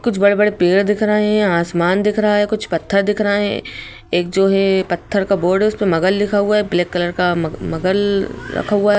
कुछ बड़े बड़े पेड़ दिख रहे है आसमान दिख रहा है कुछ पत्थर दिख रहे एक जो है पत्थर का बोर्ड है उसपे मगल लिखा हुआ है ब्लैक कलर का मग मगल रखा हुआ ह